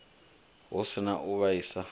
hu si na u vhaisa